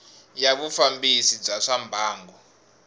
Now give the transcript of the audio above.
ya vufambisi bya swa mbangu